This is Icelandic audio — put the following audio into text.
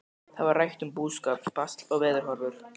Þá var rætt um búskap, basl og veðurhorfur.